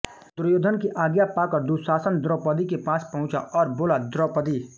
दुर्योधन की आज्ञा पाकर दुःशासन द्रौपदी के पास पहुँचा और बोला द्रौपदी